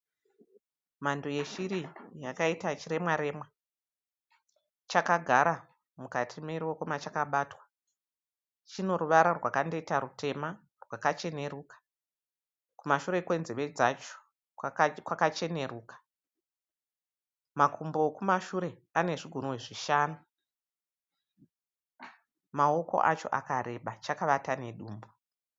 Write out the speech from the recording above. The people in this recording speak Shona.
Mhando yeshiri yakaita chiremwaremwa. Chakagara mukati meruoko machakabatwa. Chineruvara rwakandoita rutema rwakachenruka. Kumashure kwenzeve dzacho kwakacheneruka. Makumbo ekumashure anezvigunwe zvishanu. Maoko acho akareba. Chakavata nedumbu.